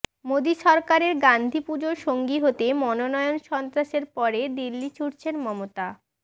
মোদি সরকারের গাঁধীপুজোর সঙ্গী হতে মনোনয়ন সন্ত্রাসের পরে দিল্লি ছুটছেন মমতা